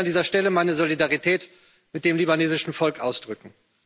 Ich möchte an dieser Stelle meine Solidarität mit dem libanesischen Volk ausdrücken.